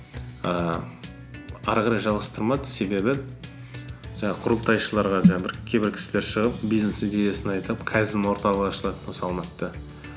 ііі әрі қарай жалғастырмады себебі жаңағы құрылтайшыларға жаңағы бір кейбір кісілер шығып бизнес идеясын айтып кайдзен орталығы ашылады осы алматыда